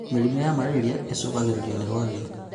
Mũrimũ wa marĩria ũcũngagĩrĩrio nĩ rwagĩ